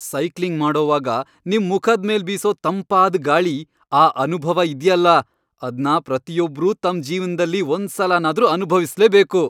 Cycling ಮಾಡೋವಾಗ ನಿಮ್ ಮುಖದ್ ಮೇಲ್ ಬೀಸೋ ತಂಪಾದ್ ಗಾಳಿ.. ಆ ಅನುಭವ ಇದ್ಯಲ್ಲ.. ಅದ್ನ ಪ್ರತಿಯೊಬ್ರೂ ತಮ್ ಜೀವನ್ದಲ್ಲಿ ಒಂದ್ಸಲನಾದ್ರೂ ಅನುಭವಿಸ್ಲೇಬೇಕು.